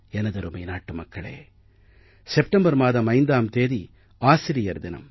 எனதருமை நாட்டு மக்களே செப்டம்பர் மாதம் 5ஆம் தேதி ஆசிரியர் தினம்